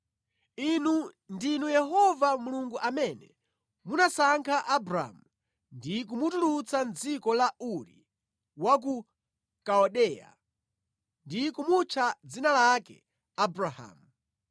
“Inu ndinu Yehova Mulungu amene munasankha Abramu ndi kumutulutsa mʼdziko la Uri wa ku Kaldeya ndi kumutcha dzina lake Abrahamu.